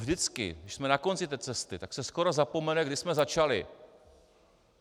Vždycky když jsme na konci té cesty, tak se skoro zapomene, kdy jsme začali.